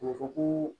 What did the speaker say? A bɛ fɔ ko